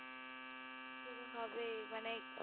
শুরু হবে এই মানে